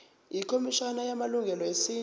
ikhomishana yamalungelo esintu